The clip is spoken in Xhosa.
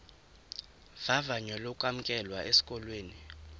vavanyo lokwamkelwa esikolweni